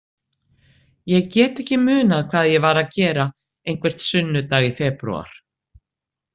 Ég get ekki munað hvað ég var að gera einhvern sunnudag í febrúar.